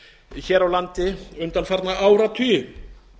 hér á landi undanfarna áratugi